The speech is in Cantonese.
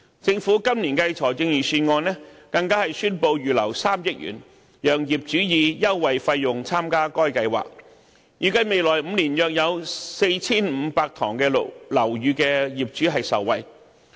政府今年的財政預案更宣布預留3億元，讓業主以優惠費用參加該計劃，預計未來5年約有 4,500 幢樓宇的業主受惠。